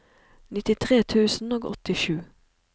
nittitre tusen og åttisju